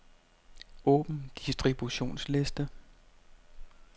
Åbn distributionsliste.